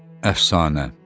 Əfsanə.